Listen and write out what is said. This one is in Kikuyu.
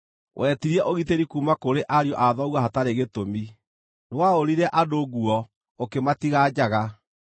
Wetirie ũgitĩri kuuma kũrĩ ariũ a thoguo hatarĩ gĩtũmi; nĩwaũrire andũ nguo, ũkĩmatiga njaga.